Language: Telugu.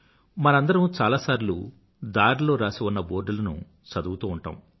మనందరమూ చాలాసార్లు దారిలో రాసి ఉన్న బోర్డులను చదువుతూ ఉంటాము